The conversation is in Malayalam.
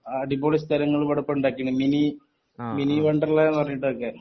അടിപൊളി സ്ഥലങ്ങൾ ഇപ്പൊ ഇവിടെ ഇണ്ടാകിൻഡ് മിനി മിനി വണ്ടർലാന്ന് പറഞ്ഞിട്ടൊക്കെ